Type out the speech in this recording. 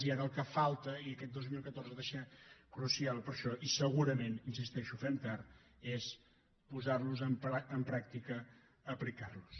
i ara el que falta i aquest dos mil catorze ha de ser crucial per a això i segurament hi insisteixo fem tard és posar los en pràctica aplicar los